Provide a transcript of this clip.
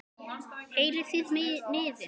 Heyrið þið niðinn?